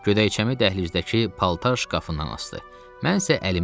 Gödəkçəmi dəhlizdəki paltar şkafından asdı.